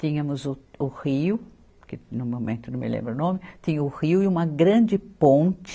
Tínhamos o, o rio, que no momento não me lembro o nome, tinha o rio e uma grande ponte,